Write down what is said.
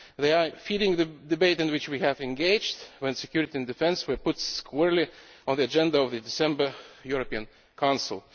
They are feeding the debate in which we engaged when security and defence were put squarely on the agenda of the December European Council.